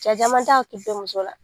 Cɛ caman t'a hakili to muso la